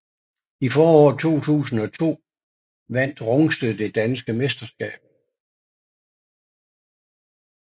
I foråret 2002 vandt Rungsted det danske mesterskab